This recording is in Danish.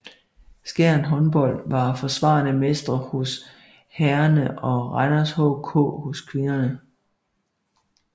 Skjern Håndbold var forsvarende mestre hos herrerne og Randers HK hos kvinderne